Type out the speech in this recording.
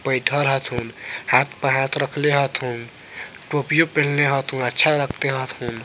बैठएल हथून हाथ पे हाथ रखले हथुन टोपी पिन्हले हथुन अच्छा लगता हथून।